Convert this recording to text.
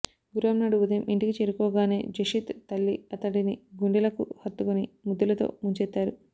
గురువారం నాడు ఉదయం ఇంటికి చేరుకోగానే జషిత్ తల్లి అతడిని గుంండెలకు హత్తుకొని ముద్దులతో ముంచెత్తారు